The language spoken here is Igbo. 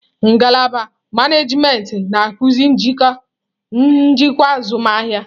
Ngalaba manajimentị na-akụzi njikwa azụmahịa.